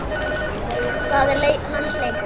Það er hans leikur.